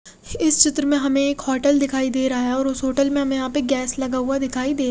इस चित्र में हमे एक होटल दिखाई दे रहा है और उस होटल में हमे यहाँ पे गैस लगा हुआ दिखाई दे--